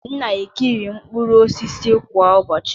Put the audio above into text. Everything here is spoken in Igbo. M na-eri mkpụrụ osisi kwa ụbọchị.